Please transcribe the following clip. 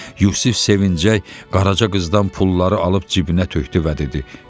Yusif sevinclə Qaraca qızdan pulları alıb cibinə tökdü və dedi: